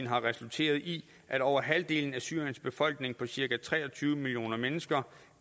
har resulteret i at over halvdelen af syriens befolkning på cirka tre og tyve millioner mennesker